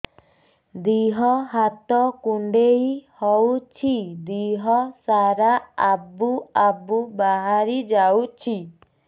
ଦିହ ହାତ କୁଣ୍ଡେଇ ହଉଛି ଦିହ ସାରା ଆବୁ ଆବୁ ବାହାରି ଯାଉଛି